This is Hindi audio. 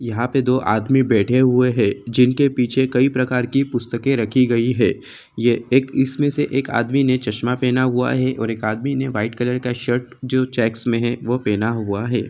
यहाँ पे दोआदमी बैठे हुए हैं जिन के पीछे कई प्रकार की पपुस्तके के रखी गई हैं ये एक इस मे से एक आदमी ने चश्मा पहना हुआ हैं और एक आदमि ने वाईट कलर का शर्ट जो चेकक्स मे हैं वह पहना हुआ हैं।